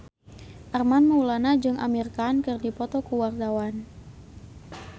Armand Maulana jeung Amir Khan keur dipoto ku wartawan